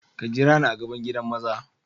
Ka jira ni a gaɓan giɗan maza.